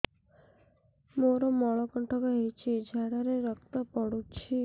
ମୋରୋ ମଳକଣ୍ଟକ ହେଇଚି ଝାଡ଼ାରେ ରକ୍ତ ପଡୁଛି